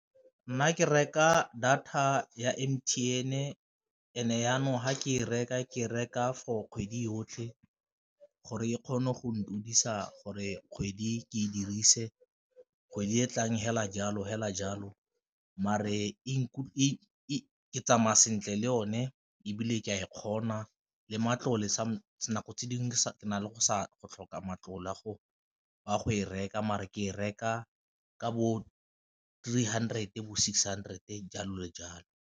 Nna ke reka data ya M_T_N and jaanong fa ke e reka ke reka for kgwedi yotlhe gore e kgone go gore kgwedi ke e dirise, kgwedi e tlang fela jalo fela jalo mare ke tsamaya sentle le o ne ebile ke a e kgona le matlole nako tse dingwe di na le go tlhoka matlole a go e reka, mare ke e reka ka bo three hundred bo six hundred jalo le jalo.